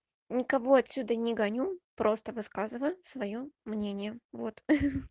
никого отсюда не гоню просто высказываю своё мнение вот ха-ха